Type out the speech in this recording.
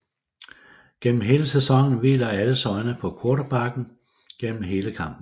Gennem hele sæsonen hviler alles øjne på quarterbacken gennem hele kampen